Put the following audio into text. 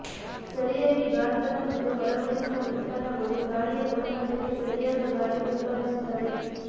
ಸರಿಯಾಗಿ ಗಾತ್ರದ ಮತ್ತು ಅಳವಡಿಸಿದ ಉತ್ಪನ್ನಗಳು ಗಾಳಿಯ ಗುಣಮಟ್ಟಕ್ಕೆ ಸರಿಯಾದ ಗಾಳಿ ಉತ್ಪಾದಿಸುತ್ತವೆ